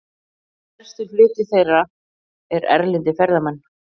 Stærstur hluti þeirra eru erlendir ferðamenn.